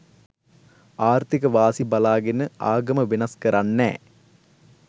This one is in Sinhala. ආර්ථික වාසි බලාගෙන ආගම වෙනස් කරන්නෑ